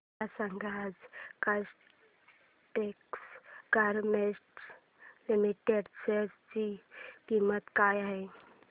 मला सांगा आज काइटेक्स गारमेंट्स लिमिटेड च्या शेअर ची किंमत काय आहे